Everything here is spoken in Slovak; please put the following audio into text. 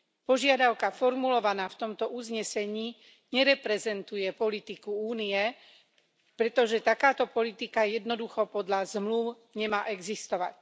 Požiadavka formulovaná v tomto uznesení nereprezentuje politiku Únie, pretože takáto politika jednoducho podľa zmlúv nemá existovať.